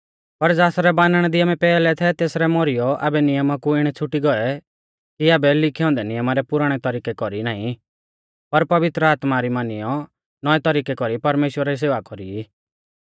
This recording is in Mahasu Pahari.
पर ज़ासरै बानणा दी आमै पैहलै थै तेसलै मौरीयौ आबै नियमा कु इणै छ़ुटी गौऐ कि आबै लिखै औन्दै नियमा रै पुराणै तरिकै कौरी नाईं पर पवित्र आत्मा री मानियौ नौऐ तरिकै कौरी परमेश्‍वरा री सेवा कौरी ई